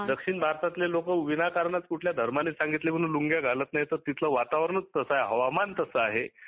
दक्षिण भारतातील लोक विनाकारण लुंगी घालत नाही किंवा कुठल्या धर्माने सांगितले म्हणून घालत नाही तर तिथले वातावरण तसे आहे व हवामान तसे आहे